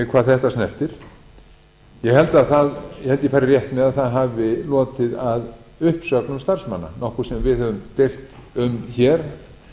hvað þetta snertir ég held að ég fari rétt með að það hafi lotið að uppsögnum starfsmanna nokkuð sem við höfum deilt um hér